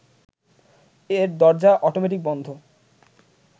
এর দরজা অটোমেটিক বন্ধ